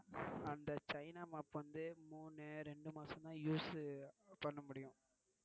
அந்த China mop வந்து மூணு இரண்டு மாசம் தான் use பண்ண முடியும்